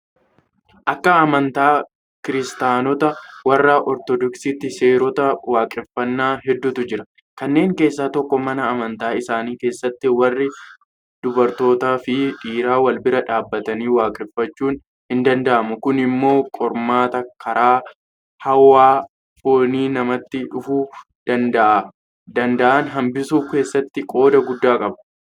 Akka amantaa kiristaanotaa warra Ortodoksiitti seerota waaqeffanna hedduutu jira. Kanneen keessaa tokko mana amantaa isaanii keessatti warri dubartootaafi dhiiraa walbira dhaabbatanii waaqeffachuun hindanda'amu. Kun immoo qormaata karaa hawwa foonii namatti dhufuu danda'an hanbisuu keessatti qooda guddaa qaba.